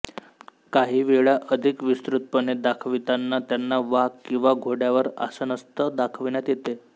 काही वेळा अधिक विस्तृतपणे दाखवितांना त्यांना वाघ किंवा घोड्यावर आसनस्थ दाखविण्यात येते